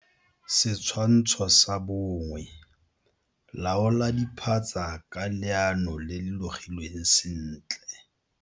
Setshwantsho sa 1. Laola diphatsa ka leano le le logilweng sentle.